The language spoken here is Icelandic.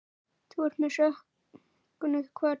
Þú ert með söknuði kvödd.